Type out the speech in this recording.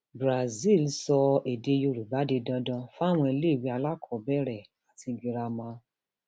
um brazil sọ èdè yorùbá di dandan fáwọn iléèwé alákọọbẹrẹ um àti girama